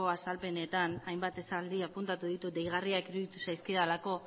azalpenetan hainbat esaldi apuntatu ditut deigarriak iruditu zaizkidalako